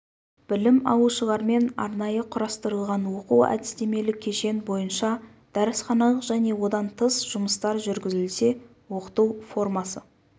білім алушылармен арнайы құрастырылған оқу-әдістемелік кешен бойынша дәрісханалық және одан тыс жұмыстар жүргізілсе оқыту формасы